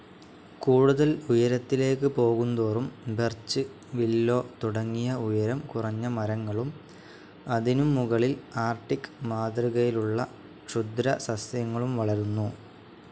കൂടുതൽ ഉയരത്തിലേക്കു പോകുന്തോറും ബെർച്ച്‌, വില്ലോ തുടങ്ങിയ ഉയരം കുറഞ്ഞ മരങ്ങളും അതിനും മുകളിൽ ആർക്ടിക്‌ മാതൃകയിലുള്ള ക്ഷുദ്രസസ്യങ്ങളും വളരുന്നു.